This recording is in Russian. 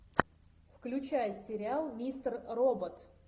включай сериал мистер робот